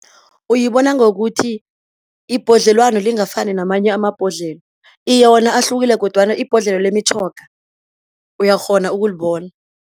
Uyibona ngokuthi ibhodlelwano lingafani namanye amabhodlelo. Iye, wona ahlukile kodwana ibhodlelo lemitjhoga uyakghona ukulibona.